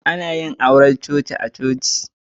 Ana yin auren coci a'coci.